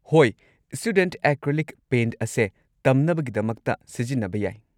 ꯍꯣꯏ, student acrylic paint ꯑꯁꯦ ꯇꯝꯅꯕꯒꯤꯗꯃꯛꯇ ꯁꯤꯖꯤꯟꯅꯕ ꯌꯥꯏ꯫